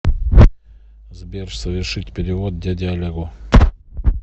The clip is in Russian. сбер совершить перевод дяде олегу